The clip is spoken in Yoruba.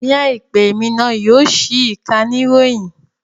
Ní àìpẹ́, èmi náà yóò ṣí ìkànnì ìròyìn